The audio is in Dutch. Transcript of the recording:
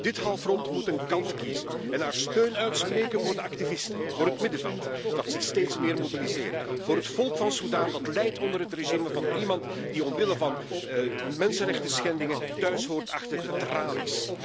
Dit Parlement moet een kant kiezen en zijn steun uitspreken voor de activisten, voor het middenveld dat zich steeds meer mobiliseert, voor het volk van Sudan, dat lijdt onder het regime van iemand die omwille van mensenrechtenschendingen thuishoort achter de tralies.